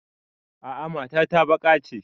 A'a mata ta baƙa ce